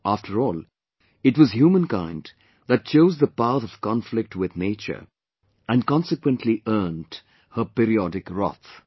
After all it was humankind that chose the path of conflict with Nature and consequently earnt her periodic wrath